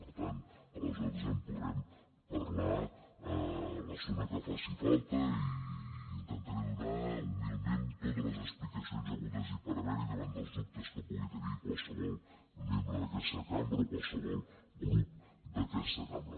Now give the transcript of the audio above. per tant aleshores en podrem parlar l’estona que faci falta i intentaré donar humilment totes les explicacions hagudes i per haver hi davant dels dubtes que pugui tenir qualsevol membre d’aquesta cambra o qualsevol grup d’aquesta cambra